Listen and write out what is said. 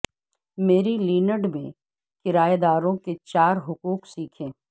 مری land میں کرایہ داروں کے چار حقوق سیکھیں